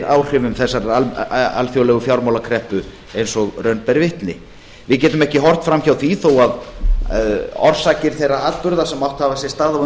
áhrifum þessarar alþjóðlegu fjármálakreppu eins og raun ber vitni við getum ekki horft fram hjá því þó að orsakir þeirra atburða sem átt hafa sér stað á